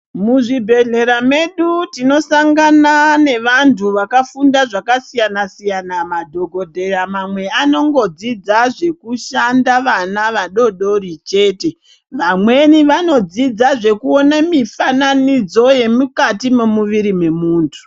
Muzvibhehlera medu tinosangana nevantu vakafunda zvakasiyana-siyana. Madhogodheya mamwe anongodzidza zvekushandaa vana vadoodori chete. Vamweni vanodzidza zvekuone mifananidzo yemukati memuviri memuntu